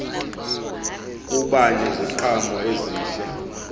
kuba neziqhamo ezihle